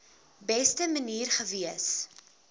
beste manier gewees